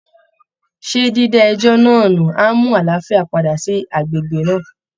Ṣé dída ẹjọ́ náà nù á mú àlàáfíà padà sí agbègbè náà?